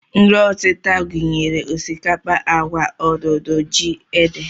Nri ọtịta gụnyere osikapa, agwa, odudu, ji, ede